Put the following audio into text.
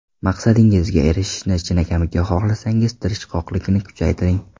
Maqsadingizga erishishni chinakamiga xohlasangiz tirishqoqlikni kuchaytiring.